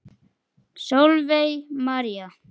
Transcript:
Sólveig María.